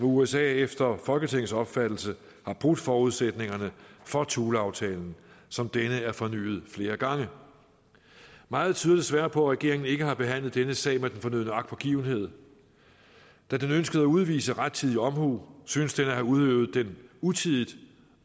usa efter folketingets opfattelse har brudt forudsætningerne for thuleaftalen som denne er fornyet flere gange meget tyder desværre på at regeringen ikke har behandlet denne sag med den fornødne agtpågivenhed da den ønskede at udvise rettidig omhu synes den at have udøvet den utidigt